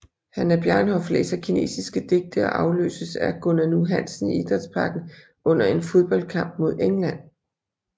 Hannah Bjarnhof læser kinesiske digte og afløses af Gunnar Nu Hansen i Idrætsparken under en fodboldkamp mod England